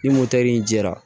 Ni motɛri jɛra